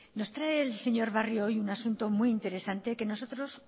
nos trae el señor barrio hoy un asunto muy interesante que nosotros